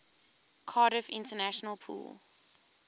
cardiff international pool